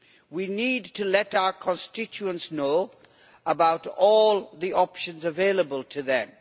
We need to let our constituents know about all the options available to them.